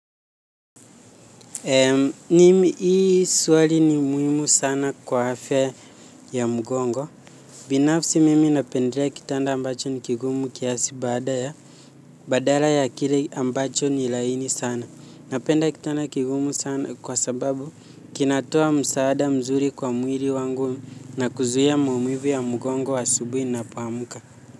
Mimi hii swali ni muhimu sana kwa afya ya mgongo. Binafsi mimi napendelea kitanda ambacho ni kigumu kiasi baada ya. Badala ya kile ambacho ni laini sana napenda kitanda kigumu sana kwa sababu kinatoa msaada mzuri kwa mwili wangu na kuzuia maumivu ya mgongo asubuhi ninapoamka.